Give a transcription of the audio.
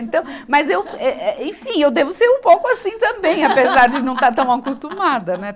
Então, mas eu, eh, eh, enfim, eu devo ser um pouco assim também, apesar de não estar tão acostumada, né.